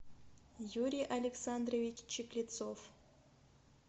юрий александрович чеклецов